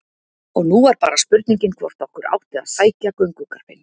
Og nú var bara spurningin hvort okkur átti að sækja göngugarpinn.